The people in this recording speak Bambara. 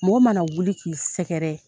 Mɔgɔ ma na wuli k'i sɛgɛrɛ